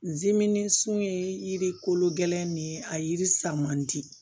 Zimini sun ye yiri kolo gɛlɛn de ye a yiri sa man di